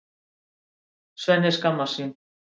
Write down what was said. Svenni skammast sín.